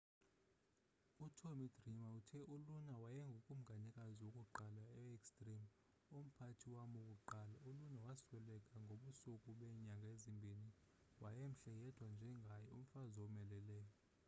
utommy dreamer uthe uluna wayengukumkanikazi wokuqala we-extreme umphathi wam wokuqala uluna wasweleka ngobusuku beenyanga ezimbini wayemhle yedwa njengaye umfazi owomeleleyo